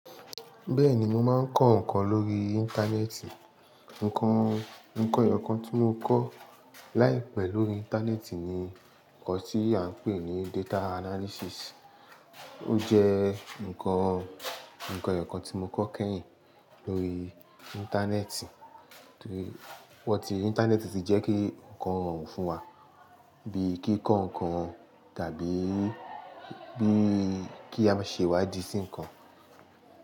Bẹ́ẹ̀ni, mo máa ń kọ́ ǹkan lórí Íńtánẹ́ẹ̀tì. Ǹkan Ǹkan ẹ̀yọ̀kan tí mo kọ́ láìpẹ́ lórí Íńtánẹ́ẹ̀tì ni ǹkan tí à ń pè ní Data Analysis. Ó jẹ́ ǹkan ǹkan ẹ̀yọ̀kan tí mo kọ́ kẹ́yìn lórí Íńtánẹ́ẹ̀tì. Torí, ìwọ́ tí Íńtánẹ́ẹ̀tì ti jẹ́ kí ǹkan rọrùn fún wa, bí i kí kọ́ ǹkan tàbí bí i kí a ṣe wá dì sí ǹkan.